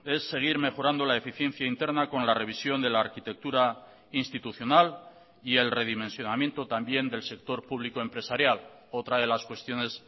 es seguir mejorando la eficiencia interna con la revisión de la arquitectura institucional y el redimensionamiento también del sector público empresarial otra de las cuestiones